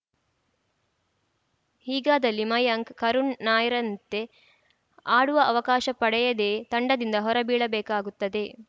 ಹೀಗಾದಲ್ಲಿ ಮಯಾಂಕ್‌ ಕರುಣ್‌ ನಾಯರ್‌ರಂತೆ ಆಡುವ ಅವಕಾಶ ಪಡೆಯದೆಯೇ ತಂಡದಿಂದ ಹೊರಬೀಳಬೇಕಾಗುತ್ತದೆ